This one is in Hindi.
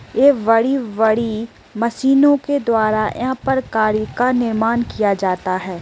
ये बड़ी-बड़ी मशीनों के द्वारा यहां पर कार्य का निर्माण किया जाता है।